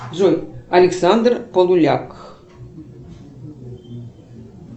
джой александр полуляк